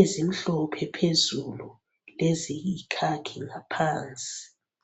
ezimhlophe phezulu leziyi khakhi ngaphansi.